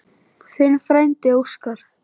Þinn frændi Óskar.